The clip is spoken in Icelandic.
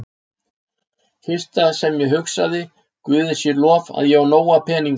Fyrsta sem ég hugsaði, Guði sé lof, að ég á nóga peninga.